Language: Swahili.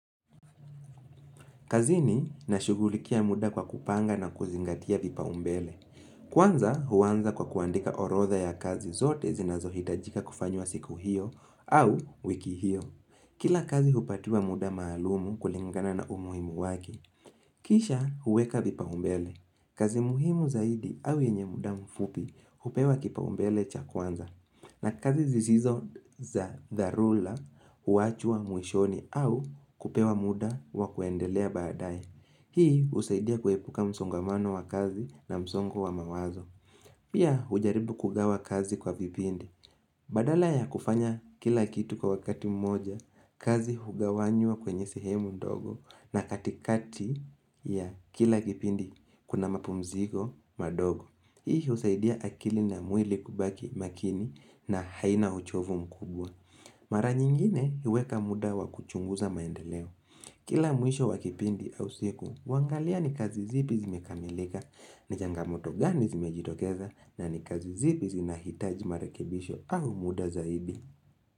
Kazini, nashughulikia muda kwa kupanga na kuzingatia vipaa umbele. Kwanza huanza kwa kuandika orodha ya kazi zote zinazohitajika kufanywa siku hiyo au wiki hiyo. Kila kazi hupatiwa muda maalumu kulingana na umuhimu wake. Kisha huweka vipa umbele. Kazi muhimu zaidi au yenye muda mfupi hupewa kipa umbele cha kwanza. Na kazi zisizo za dharura huachwa mwishoni au kupewa muda wa kuendelea baadae. Hii husaidia kuepuka msongamano wa kazi na msongo wa mawazo. Pia hujaribu kugawa kazi kwa vipindi. Badala ya kufanya kila kitu kwa wakati mmoja, kazi hugawanywa kwenye sehemu ndogo na katikati ya kila kipindi, kuna mapumziko madogo. Hii husaidia akili na mwili kubaki makini na haina uchovu mkubwa. Mara nyingine huweka muda wa kuchunguza maendeleo. Kila mwisho wa kipindi au siku, huangalia ni kazi zipi zimekamilika, ni jangamoto gani zimejitokeza na ni kazi zipi zinahitaji marekebisho au muda zaidi.